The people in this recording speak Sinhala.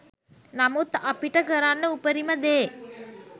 නමුත් අපිට කරන්න උපරිම දේ